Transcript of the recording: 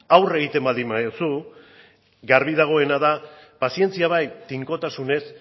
aurre egiten baldin badiozu garbi dagoena da pazientzia bai tinkotasunez